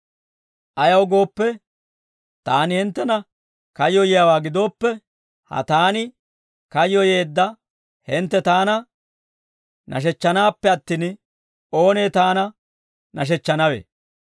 Ayaw gooppe, taani hinttena kayyoyiyaawaa gidooppe, ha taani kayyoyeedda hintte taana nashechchanaappe attin, oonee taana nashechchanawe?